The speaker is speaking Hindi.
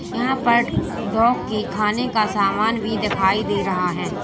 यहां पर डॉग की खाने का सामान भी दिखाई दे रहा है।